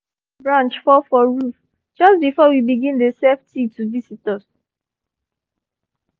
one tree branch fall for roof just before we begin dey serve tea to visitors